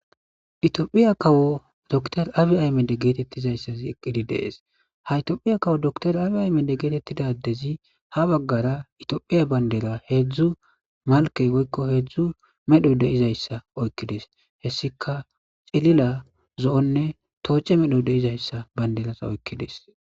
iEtophiya kawo dor abi ay mede geetettizayssazi eqqidi dees haytiophiya kawo doktor abi ay mede geetettidadezi ha baggara itiophiya bandera heedzdzu malkey goykko heedzdzu medho deizayssa oykkides hessika cilila zo7onne tooche medho deizayssa bayndelasa oykkides.